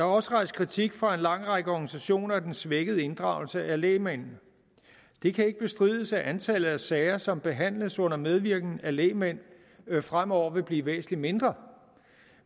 også rejst kritik fra en lang række organisationers side af den svækkede inddragelse af lægmændene det kan ikke bestrides at antallet af sager som behandles under medvirken af lægmænd fremover vil blive væsentlig mindre